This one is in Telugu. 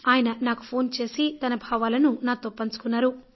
ఆయన నాకు ఫోన్ చేసి తన భావాలను నాతో పంచుకున్నారు